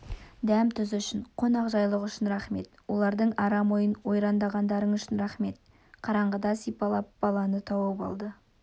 дәм-тұз үшін қонақжайлылық үшін рақмет олардың арам ойын ойрандағандарың үшін рақмет қараңғыда сипалап баланы тауып алды